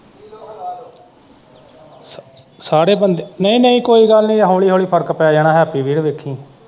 ਸਾਰੇ ਬੰਦੇ ਨਈ ਨਈ ਕੋਈ ਗੱਲ਼ ਨੀ ਹੋਲੀ-ਹੋਲੀ ਫਰਕ ਪੈ ਜਾਣਾ ਹੈਪੀ ਵੀਰ।